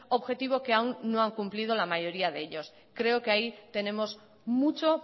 objetivo que aún no han cumplido la mayoría de ellos creo que ahí tenemos mucho